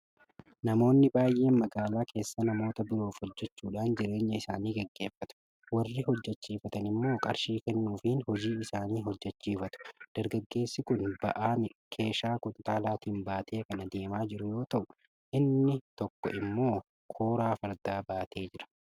Namoonni baay'een magaalaa keessa namoota biroof hojjechuudhaan jireenya isaanii gaggeeffatu. Warri hojjechiifatan immoo qarshii kennuufiin hojii isaanii hojjechiifatu. Dargaggeessi kun ba'aa keeshaa kuntaalaatiin baatee kan adeemaa jiru yoo ta'u, inni tokko immoo kooraa fardaa baatee jira.